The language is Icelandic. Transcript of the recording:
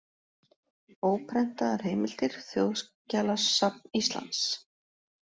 Óprentaðar heimildir: Þjóðskjalasafn Íslands.